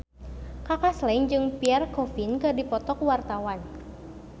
Kaka Slank jeung Pierre Coffin keur dipoto ku wartawan